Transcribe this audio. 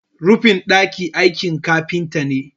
rufin daki aikin kafinta ne